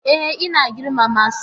E, ina girmama su.